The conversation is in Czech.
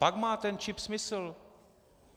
Pak má ten čip smysl.